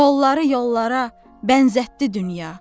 Qolları yollara bənzətdi dünya.